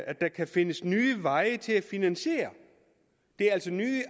at der skal findes nye veje til at finansiere det er altså nye